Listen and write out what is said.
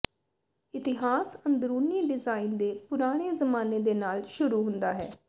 ਇਤਿਹਾਸ ਅੰਦਰੂਨੀ ਡਿਜ਼ਾਇਨ ਦੇ ਪੁਰਾਣੇ ਜ਼ਮਾਨੇ ਦੇ ਨਾਲ ਸ਼ੁਰੂ ਹੁੰਦਾ ਹੈ